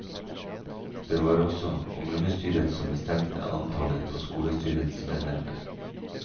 Det var også kommunestyret som bestemte antallet på skolestyrets medlemmer.